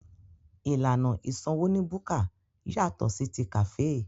Ìlànà ìsanwó ní búkà yàtọ̀ sí ti kàféè.